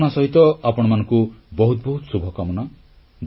ଏହି ଭାବନା ସହିତ ଆପଣମାନଙ୍କ ବହୁତ ବହୁତ ଶୁଭକାମନା